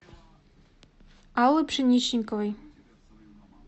аллы пшеничниковой